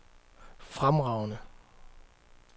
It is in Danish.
fremragende